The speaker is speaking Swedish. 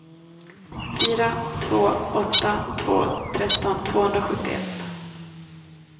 fyra två åtta två tretton tvåhundrasjuttioett